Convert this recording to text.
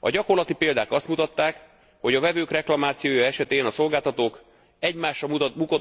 A gyakorlati példák azt mutatták, hogy a vevők reklamációja esetén a szolgáltatók egymásra